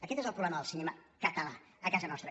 aquest és el problema del cinema català a casa nostra